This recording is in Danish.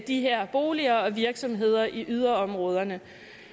de her boliger og virksomheder i yderområderne